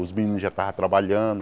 Os meninos já estavam trabalhando.